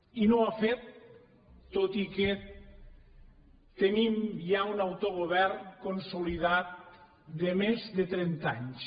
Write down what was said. i no ho ha fet tot i que tenim ja un autogovern consolidat de més de trenta anys